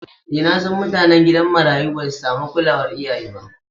E nasan mutanen gidan marayu basu samu kulawar iyaye ba.